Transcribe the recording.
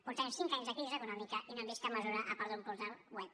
fa cinc anys de la crisi econòmica i no hem vist cap mesura a part d’un portal web